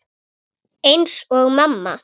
Eins og mamma.